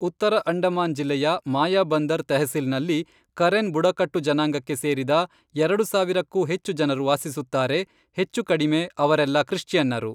ಉತ್ತರ ಅಂಡಮಾನ್ ಜಿಲ್ಲೆಯ ಮಾಯಾಬಂದರ್ ತೆಹ್ಸಿಲ್ನಲ್ಲಿ ಕರೆನ್ ಬುಡಕಟ್ಟು ಜನಾಂಗಕ್ಕೆ ಸೇರಿದ ಎರಡು ಸಾವಿರಕ್ಕೂ ಹೆಚ್ಚು ಜನರು ವಾಸಿಸುತ್ತಾರೆ, ಹೆಚ್ಚುಕಡಿಮೆ ಅವರೆಲ್ಲ ಕ್ರಿಶ್ಚಿಯನ್ನರು.